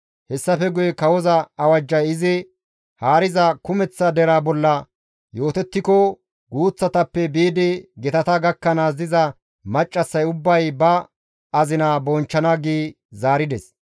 Hessafe guye kawoza awajjay izi haariza kumeththa deraa bolla yootettiko guuththatappe biidi gitata gakkanaas diza maccassay ubbay ba azina bonchchana» gi zaarides.